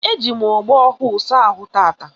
Eji m ogbo ọhụụ saa ahụ taata